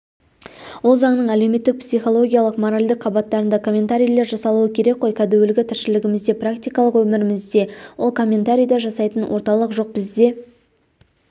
ол заңның әлеуметтік психологиялық моральдық қабаттарында комментарийлер жасалуы керек қой кәдуілгі тіршілігімізде практикалық өмірімізде ол комментарийді жасайтын орталық жоқ бізде